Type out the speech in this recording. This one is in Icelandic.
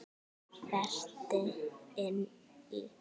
Berti inn í.